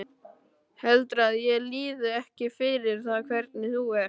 Heldurðu að ég líði ekki fyrir það hvernig þú ert?